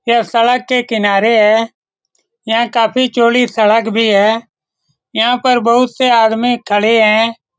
यह सड़क के किनारे है। यहाँ काफी चौड़ी सड़क भी है। यहाँ पर बहुत से आदमी खड़े है।